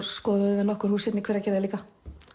skoðuðum við nokkur hús hérna í Hveragerði líka